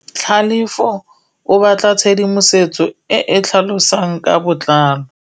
Tlhalefô o batla tshedimosetsô e e tlhalosang ka botlalô.